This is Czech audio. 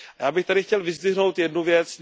Já bych tady chtěl vyzdvihnout jednu věc.